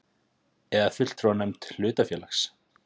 eða fulltrúanefnd hlutafélags.